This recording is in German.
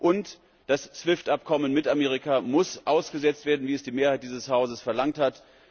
Und das SWIFT Abkommen mit Amerika muss ausgesetzt werden, wie es die Mehrheit dieses Hauses verlangt hat.